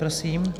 Prosím.